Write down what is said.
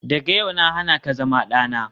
Daga yau na hana ka zama dana.